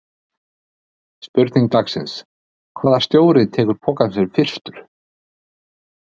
Spurning dagsins: Hvaða stjóri tekur pokann sinn fyrstur?